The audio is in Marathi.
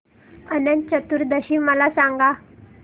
अनंत चतुर्दशी मला सांगा